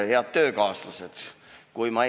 Head töökaaslased!